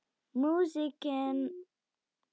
Músíkin varð falleg.